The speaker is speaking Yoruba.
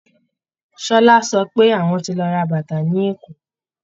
Ṣọlá sọ pé àwọn ti lọ ra bàtà ní Èkó